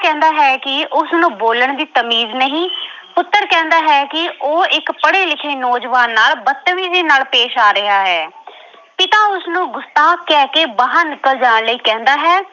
ਕਹਿੰਦਾ ਹੈ ਕਿ ਉਸਨੂੰ ਬੋਲਣ ਦੀ ਤਮੀਜ਼ ਨਹੀਂ। ਪੁੱਤਰ ਕਹਿੰਦਾ ਹੈ ਕਿ ਉਹ ਇੱਕ ਪੜ੍ਹੇ-ਲਿਖੇ ਨੌਜਵਾਨ ਨਾਲ ਬਤਮੀਜ਼ੀ ਨਾਲ ਪੇਸ਼ ਆ ਰਿਹਾ ਹੈ। ਪਿਤਾ ਉਸਨੂੰ ਗੁਸਤਾਖ਼ ਕਹਿਕੇ ਬਾਹਰ ਨਿਕਲ ਜਾਣ ਲਈ ਕਹਿੰਦਾ ਹੈ।